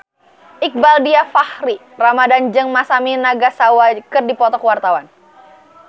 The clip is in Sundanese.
Iqbaal Dhiafakhri Ramadhan jeung Masami Nagasawa keur dipoto ku wartawan